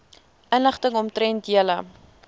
inligting omtrent julle